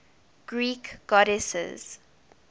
greek goddesses